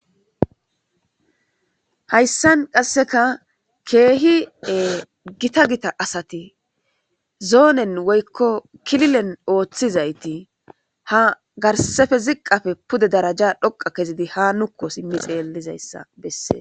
hayssan qasseka keehie gita gita asati zoonen woykko kililen ooththizayti ha garsefe ziqafe pude daraja dhoqa kezidi ha nukko simmi xeellizayssa bessee